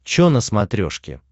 че на смотрешке